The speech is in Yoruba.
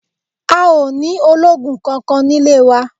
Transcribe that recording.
A ò ní ológun kankan nílé wá